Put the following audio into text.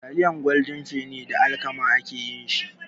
Taliyar Goldin feni da alkama ake yin shi.